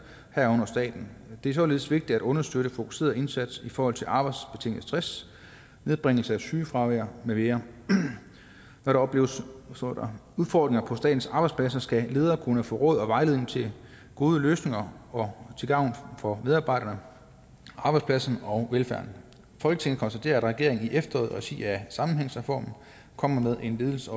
herunder staten det er således vigtigt at understøtte en fokuseret indsats i forhold til arbejdsbetinget stress nedbringelse af sygefraværet med videre når der opleves udfordringer på statens arbejdspladser skal lederne kunne få råd og vejledning til gode løsninger til gavn for medarbejderne arbejdspladserne og velfærden folketinget konstaterer at regeringen i efteråret i regi af sammenhængsreformen kommer med en ledelses